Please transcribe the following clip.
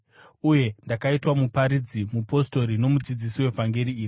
Uye ndakaitwa muparidzi, mupostori nomudzidzisi wevhangeri iri.